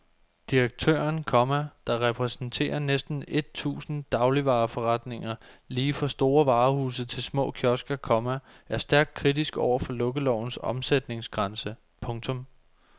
Direktøren, komma der repræsenterer næsten et tusind dagligvareforretninger lige fra store varehuse til små kiosker, komma er stærkt kritisk over for lukkelovens omsætningsgrænse. punktum